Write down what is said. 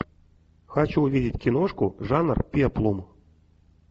хочу увидеть киношку жанр пеплум